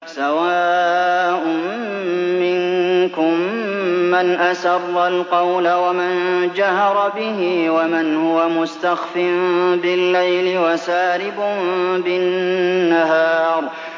سَوَاءٌ مِّنكُم مَّنْ أَسَرَّ الْقَوْلَ وَمَن جَهَرَ بِهِ وَمَنْ هُوَ مُسْتَخْفٍ بِاللَّيْلِ وَسَارِبٌ بِالنَّهَارِ